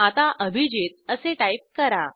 आता अभिजित असे टाईप करा